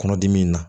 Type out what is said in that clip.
Kɔnɔdimi in na